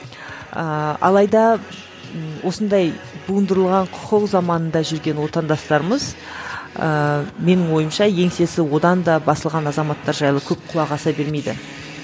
ыыы алайда осындай буындырылған құқық заманында жүрген отандастарымыз ыыы менің ойымша еңсесі одан да басылған азаматтар жайлы көп құлақ аса бермейді